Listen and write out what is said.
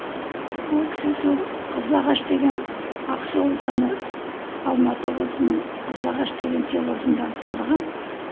ол кісі сол қызылағаш деген ақсу ауданы алматы облысының қызылағаш деген селосында тұрған